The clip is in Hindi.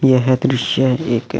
यह द्रिश एक--